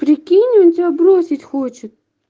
прикинь он тебя бросить хочет